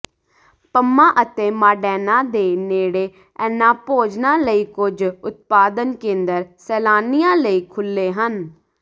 Puma ਅਤੇ Modena ਦੇ ਨੇੜੇ ਇਹਨਾਂ ਭੋਜਨਾਂ ਲਈ ਕੁੱਝ ਉਤਪਾਦਨ ਕੇਂਦਰ ਸੈਲਾਨੀਆਂ ਲਈ ਖੁੱਲ੍ਹੇ ਹਨ